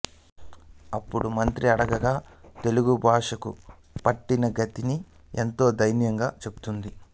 అప్పుడు మంత్రి అడుగగా తెలుగు భాషకు పట్టినగతి ఎంతో దైన్యంగా చెప్తుంది